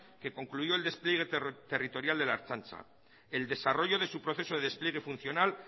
que concluyó el despliegue territorial de la ertzaintza el desarrollo de su proceso de despliegue funcional